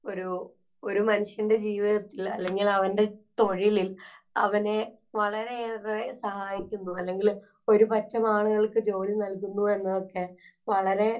ഒരു, ഒരു മനുഷ്യന്‍റെ ജീവിതത്തില്‍, അല്ലെങ്കില്‍ അവന്‍റെ തൊഴിലില്‍ അവനെ വളരെയേറെ സഹായിക്കുന്നു. അല്ലെങ്കില്‍ ഒരു പറ്റം ആളുകള്‍ക്ക് ജോലി നല്കൂന്നു എന്നതൊക്കെ വളരെ